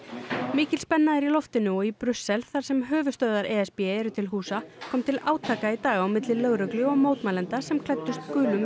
mikil spenna er í loftinu og í Brussel þar sem höfuðstöðvar e s b eru til húsa kom til átaka í dag á milli lögreglu og mótmælenda sem klæddust gulum